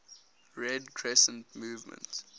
red crescent movement